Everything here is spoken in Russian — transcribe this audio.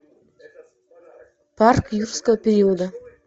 парк юрского периода